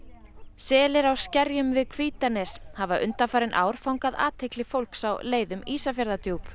selir á skerjum við Hvítanes hafa undanfarin ár fangað athygli fólks á leið um Ísafjarðardjúp